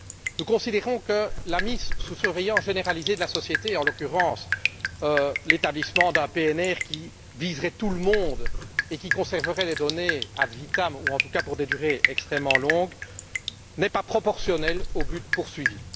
Nous considérons que la mise sous surveillance généralisée de la société et, en l'occurrence, l'établissement d'un fichier PNR qui viserait tout le monde et où les données seraient conservées ad vitam ou en tout cas pour des durées extrêmement longues, n'est pas proportionnelle au but poursuivi.